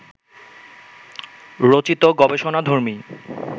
রচিত গবেষণাধর্মী